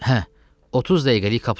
Hə, 30 dəqiqəlik kapsulu.